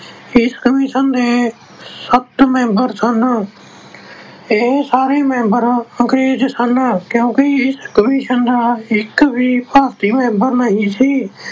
ਇਸ commission ਦੇ ਸੱਤ member ਸਨ, ਇਹ ਸਾਰੇ member ਅੰਗਰੇਜ ਸਨ ਕਿਉਂਕਿ ਇਸ commission ਦਾ ਇਕ ਵੀ ਭਾਰਤੀ member ਨਹੀਂ ਸੀ ।